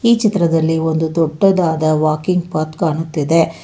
ಈ ಚಿತ್ರದಲ್ಲಿ ಒಂದು ದೊಡ್ಡದಾದ ವಾಕಿಂಗ್ ಪತ್ ಕಾಣುತ್ತಿದೆ.